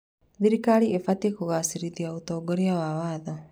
Thirikari ĩbatiĩ kũgacĩrithia ũtongoria wa watho.